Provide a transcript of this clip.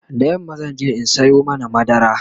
da yamma zanje in Sayo mana madara